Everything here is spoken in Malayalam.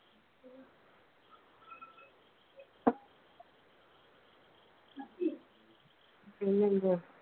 പിന്നെ എന്തുവാ?